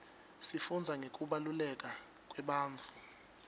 sifundza ngekubaluleka kwebantfu